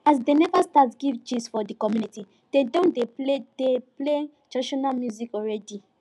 as dem neva start give gist for the community dem don dey play dey play traditional music already